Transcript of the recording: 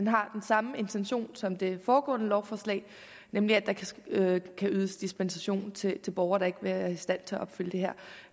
har den samme intention som det foregående lovforslag nemlig at der kan ydes dispensation til borgere der ikke vil være i stand til at opfylde det her